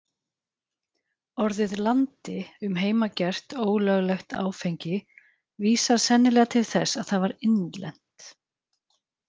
Orðið landi um heimagert, ólöglegt áfengi, vísar sennilega til þess að það var innlent.